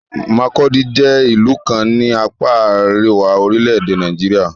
Makurdi jẹ́ ìlú kan ní apá àríwá orílẹ̀-èdè Nàìjíríà.